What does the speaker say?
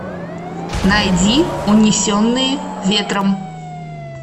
найди унесенные ветром